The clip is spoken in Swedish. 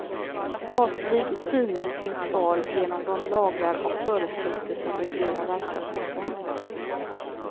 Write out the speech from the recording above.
Statlig styrning finns kvar genom de lagar och föreskrifter som reglerar verksamheten.